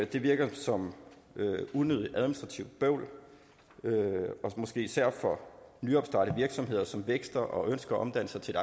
det virker som unødigt administrativt bøvl måske især for nyopstartede virksomheder som vækster og ønsker at omdanne sig til